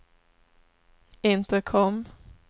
intercom